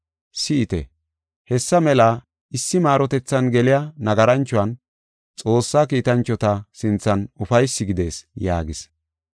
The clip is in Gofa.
Si7ite, hessa mela issi maarotethan geliya nagaranchuwan Xoossaa kiitanchota sinthan ufaysi gidees” yaagis.